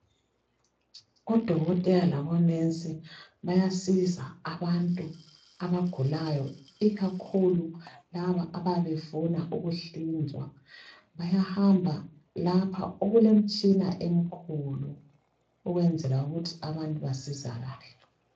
Odokotela labonensi bayasiza abantu abagulayo ikakhulu laba ababefuna ukuhlinzwa bayahamba lapho okulemtshina emkhulu ukwenzela ukuthi abantu basizakale.